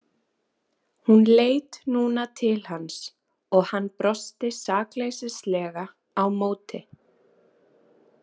Hún leit núna til hans og hann brosti sakleysilega á móti.